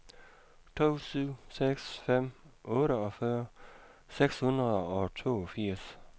to syv seks fem otteogfyrre seks hundrede og toogfirs